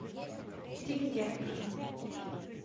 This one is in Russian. демиденко